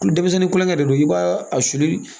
Denmisɛnnin kulonkɛ de don i b'a a susuli